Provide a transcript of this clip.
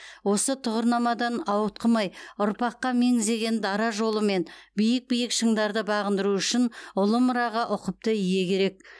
осы тұғырнамадан ауытқымай ұрпаққа меңзеген дара жолымен биік биік шыңдарды бағындыру үшін ұлы мұраға ұқыпты ие керек